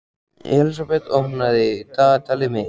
Elísabet, opnaðu dagatalið mitt.